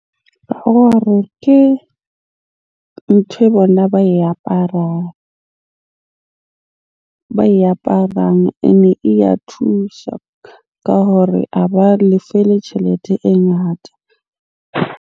Ke ntho e bona ba e aparang. Ene e ya thusha ka hore a ba lefe le tjhelete e ngata.